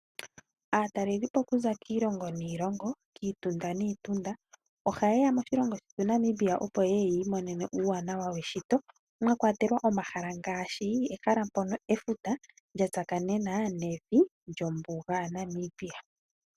Aatalelipo okuza kiilongo niilongo, kiitunda niitunda ohaye ya moshilongo shetu sha Namibia, opo ye ye yi imoneme uuwanawa weshito mwa kwatelwa omahala ngaashi ehala mpono efuta lya tsakanena nevi lyombuga ya Namibia.